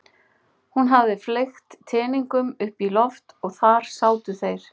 Hún hafði fleygt teningunum upp í loft og þar sátu þeir.